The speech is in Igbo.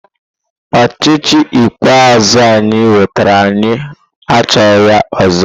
Ochịchị ikpeazụ anyị nwetara anyị achọghị ya ọzọ!